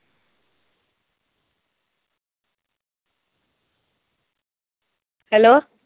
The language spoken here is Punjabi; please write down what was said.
Hello